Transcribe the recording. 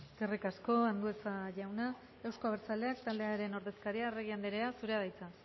eskerrik asko andueza jauna euzko abertzaleak taldearen ordezkaria arregi andrea zurea da hitza